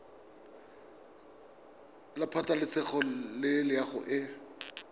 la pabalesego le loago e